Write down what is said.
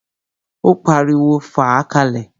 Ó pariwo, "fàá ka lẹ̀!"